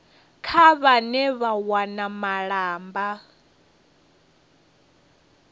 kha vhane vha wana malamba